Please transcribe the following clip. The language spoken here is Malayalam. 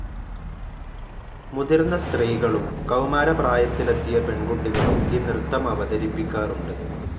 മുതിർന്ന സ്ത്രീകളും കൗമാരപ്രായത്തിലെത്തിയ പെൺകുട്ടികളും ഈ നൃത്തമവതരിപ്പിക്കാറുണ്ട്.